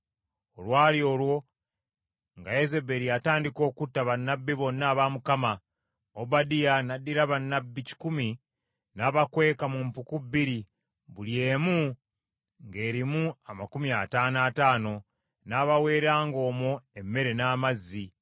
Olwali olwo nga Yezeberi atandika okutta bannabbi bonna aba Mukama , Obadiya n’addira bannabbi kikumi n’abakweka mu mpuku bbiri buli emu ng’erimu amakumi ataano ataano, n’abaweeranga omwo emmere n’amazzi.